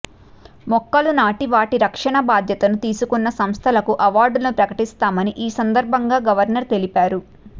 మొక్కలు నాటి వాటి రక్షణ బాధ్యత తీసుకున్న సంస్థలకు అవార్డులను ప్రకటిస్తామని ఈ సందర్భంగా గవర్నర్ తెలిపారు